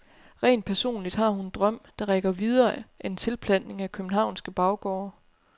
Rent personligt har hun en drøm, der rækker videre end tilplantning af københavnske baggårde.